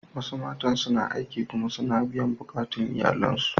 Wasu matan suna aiki kuma suna biyan bukatun iyalansu.